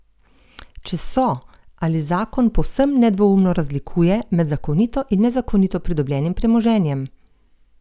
Če so, ali zakon povsem nedvoumno razlikuje med zakonito in nezakonito pridobljenim premoženjem?